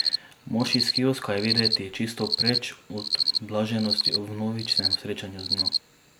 Mož iz kioska je videti čisto preč od blaženosti ob vnovičnem srečanju z njo.